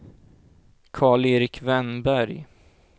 Karl-Erik Wennberg